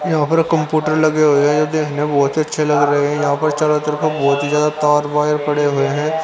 यहां पर कंप्यूटर लगे हुए हैं यह देखने में बहोत अच्छे लग रहे हैं यहां पर चारों तरफ बहोत ही ज्यादा तार वायर पड़े हुए है।